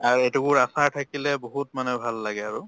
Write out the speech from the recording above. আৰু এটুকুৰ আচাৰ থাকিলে বহুত মানে ভাল লাগে আৰু